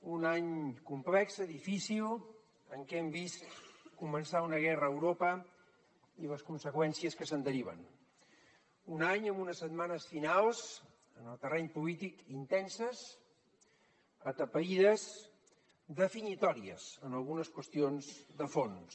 en un any complex difícil en què hem vist començar una guerra a europa i les conseqüències que se’n deriven un any amb unes setmanes finals en el terreny polític intenses atapeïdes definitòries en algunes qüestions de fons